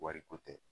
Wariko tɛ